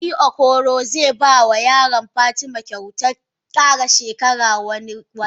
Sarki okoro ze bama yaron fatima kyautan kara shekara wani watan.